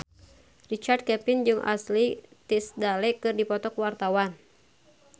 Richard Kevin jeung Ashley Tisdale keur dipoto ku wartawan